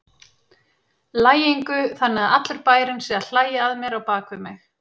lægingu, þannig að allur bærinn sé að hlæja að mér á bak við mig.